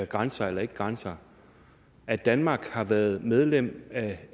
grænser eller ikke grænser at danmark har været medlem af